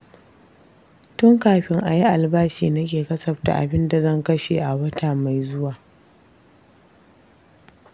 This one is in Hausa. Tun kafin a yi albashi nake kasafta abinda zan kashe a wata mai zuwa.